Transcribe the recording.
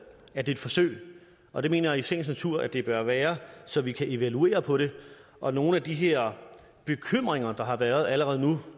er et forsøg og det mener jeg i sagens natur det bør være så vi kan evaluere på det og nogle af de her bekymringer der har været allerede nu